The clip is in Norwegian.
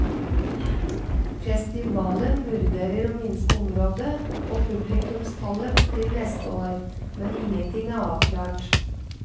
Festivalen vurderer å minske området og publikumstallet til neste år, men ingenting er avklart.